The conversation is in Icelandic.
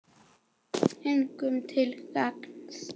Engum til gagns.